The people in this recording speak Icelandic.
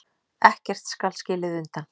Ekkert skal skilið undan.